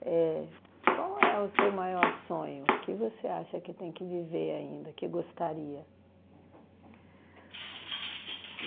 éh, qual é o seu maior sonho, o que você acha que tem que viver ainda, que gostaria?